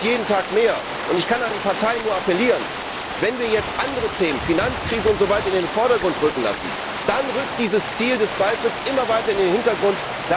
Es schwindet jeden Tag mehr. Ich kann nur an die Parteien appellieren Wenn wir jetzt andere Themen, wie die Finanzkrise, in den Vordergrund treten lassen, dann rückt dieses Ziel des Beitritts immer weiter in den Hintergrund.